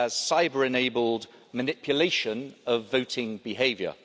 cyber-enabled manipulation of voting behaviour.